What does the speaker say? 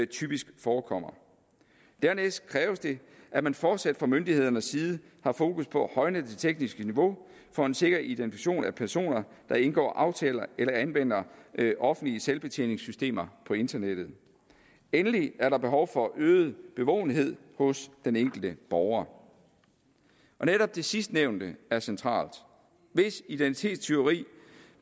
typisk forekommer dernæst kræves det at man fortsat fra myndighedernes side har fokus på at højne det tekniske niveau for en sikker identifikation af personer der indgår aftaler eller anvender offentlige selvbetjeningssystemer på internettet endelig er der behov for øget bevågenhed hos den enkelte borger netop det sidstnævnte er centralt hvis identitetstyveri